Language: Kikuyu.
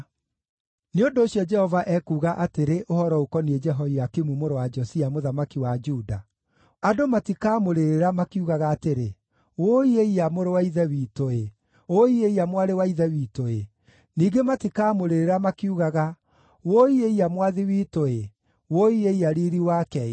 Nĩ ũndũ ũcio, Jehova ekuuga atĩrĩ ũhoro ũkoniĩ Jehoiakimu mũrũ wa Josia, mũthamaki wa Juda: “Andũ matikamũrĩrĩra makiugaga atĩrĩ: ‘Wũi-ĩiya, mũrũ-wa-Ithe-witũ-ĩ! Wũi-ĩiya mwarĩ-wa-ithe-witũ-ĩ!’ Ningĩ matikamũrĩrĩra makiugaga: ‘Wũi-ĩiya mwathi-witũ-ĩ! Wũi-ĩiya riiri-wake-ĩ!’